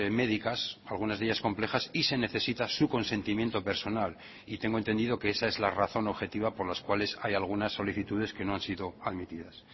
médicas algunas de ellas complejas y se necesita su consentimiento personal y tengo entendido que esa es la razón objetiva por las cuales hay algunas solicitudes que no han sido admitidas